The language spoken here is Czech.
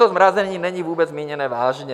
To zmrazení není vůbec míněné vážně.